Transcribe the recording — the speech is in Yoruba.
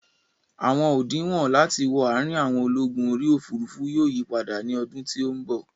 Àwọn òdinwọ̀n láti wọ àrin àwọn ológun orí òfurufú yóò yípadà ní ọdún tí ó bọ̀